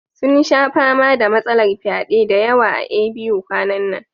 Sun sha fama da matsalar fyade da yawa a A.B.U kwanan nan